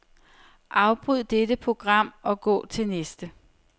Afbryd dette program og gå til næste.